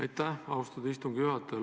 Aitäh, austatud istungi juhataja!